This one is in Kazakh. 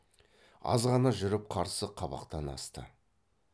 азғана жүріп қарсы қабақтан асты